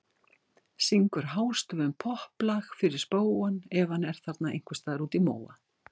Syngur hástöfum popplag fyrir spóann ef hann er þarna ein- hvers staðar úti í móa.